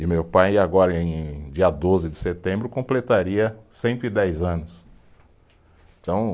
E meu pai agora, em dia doze de setembro, completaria cento e dez anos, então